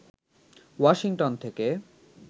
Washington থেকে